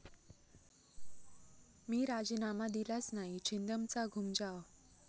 मी राजीनामा दिलाच नाही, छिंदमचा घूमजाव